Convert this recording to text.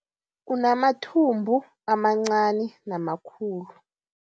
Unamathumbu amancani namakhulu.